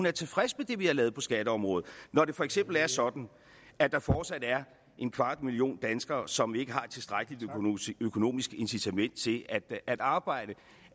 er tilfreds med det vi har lavet på skatteområdet når det for eksempel er sådan at der fortsat er en kvart million danskere som ikke har et tilstrækkelig økonomisk incitament til at arbejde